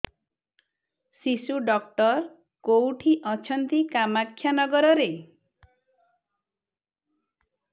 ଶିଶୁ ଡକ୍ଟର କୋଉଠି ଅଛନ୍ତି କାମାକ୍ଷାନଗରରେ